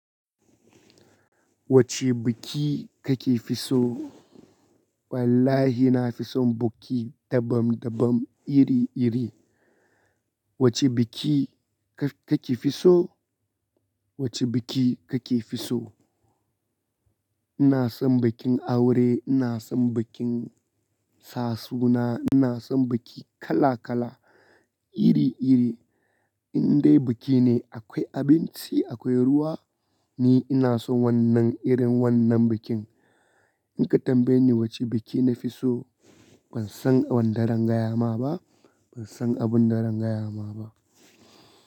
Wacce biki kake fi so? Wallahi na fi son buki dabam dabam iri iri. Wacce biki ka-kake fi so? Wacce buki kake fi so? Ina son bukin aure, ina son bukin sa suna, ina son buki kala kala iri iri. In dai buki ne akwai abinci, akwai ruwa ni ina son wannan irin wannan bukin. In ka tambaye ni wacce biki na fi so ban san wanda rangayama ba, ban san abun da rangayama ba.